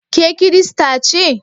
Ke Kirista ce?